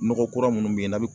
Nɔgɔ kura munnu be ye n'a be